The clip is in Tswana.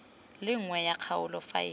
le nngwe ya kgaolo faele